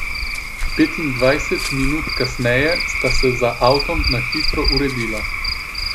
Petindvajset minut kasneje sta se za avtom na hitro uredila.